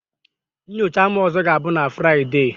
Nyocha m ọzọ ga-abụ na Fraịdee